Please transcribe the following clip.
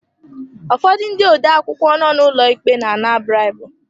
Ụfọdụ ndị odeakwụkwọ nọ n'ụlọ ikpe na ana bribu.